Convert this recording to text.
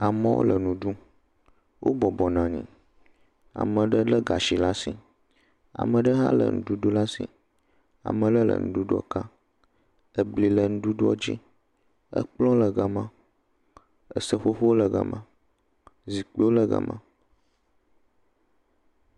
amowo le nuɖum wó bɔbɔ nɔnyi ameɖe le gasi lasi ameɖe hã le ŋuɖuɖu lasi ameɖe le ŋuɖuɖuɔ kam ebli le ŋuɖuɖua dzi ekplɔ̃wo le gama seƒoƒowo le gama zikpiwo le gama